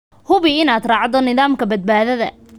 Hubi inaad raacdo nidaamka badbaadada.